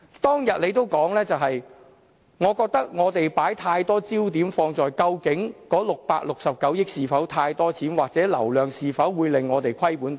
他當天說："我覺得我們把太多焦點放在究竟那669億元是否太多錢，或者那流量是否會令我們虧本等。